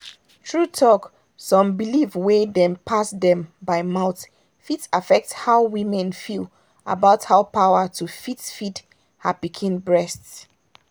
true talk some belief wey dem pass dem by mouth fit affect how woman feel about power to fit feed her pikin breast.